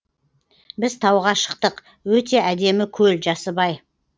біз тауға шықтық өте әдемі көл жасыбай